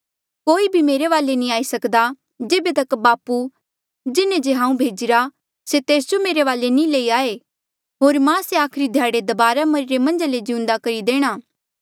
कोई भी मेरे वाले नी आई सक्दा जेबे तक बापू जिन्हें जे हांऊँ भेजिरा से तेस जो मेरे वाले नी लई आये होर मां से आखरी ध्याड़े दबारा मरिरे मन्झा ले जिउंदे करी देणा